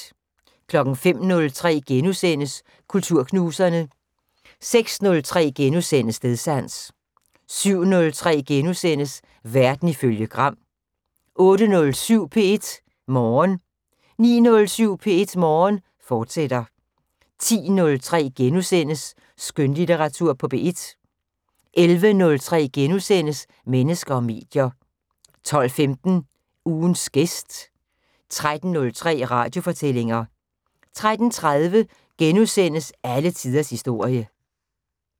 05:03: Kulturknuserne * 06:03: Stedsans * 07:03: Verden ifølge Gram * 08:07: P1 Morgen 09:07: P1 Morgen, fortsat 10:03: Skønlitteratur på P1 * 11:03: Mennesker og medier * 12:15: Ugens gæst 13:03: Radiofortællinger 13:30: Alle tiders historie *